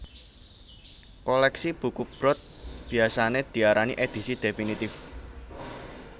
Kolèksi buku Brod biasané diarani Édisi Définitif